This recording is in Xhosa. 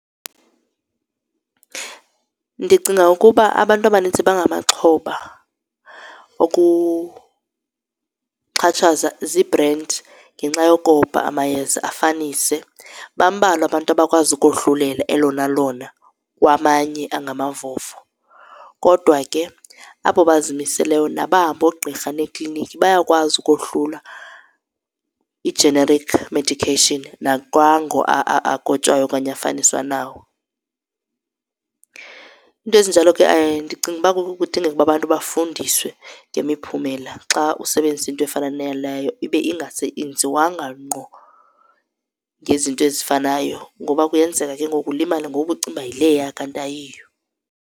Ndicinga ukuba abantu abanintsi bangamaxhoba okuxhatshazwa ziibhrendi ngenxa yokoba amayeza afanise. Bambalwa abantu abakwazi ukohlulela elona lona kwamanye angamavovo, kodwa ke abo bazimiseleyo nabahamba oogqirha neekliniki bayakwazi ukohlula i-generic medication nakwango akotshwayo okanye afaniswa nawo. Iinto ezinjalo ke ndicinga ukuba kudingeka ukuba abantu bafundiswe ngemiphumela xa usebenzisa into efana naleyo ibe ingenziwanga ngqo ngezinto ezifanayo ngoba kuyenzeka ke ngoku ulimale ngoku ubucinga yileya kanti ayiyo.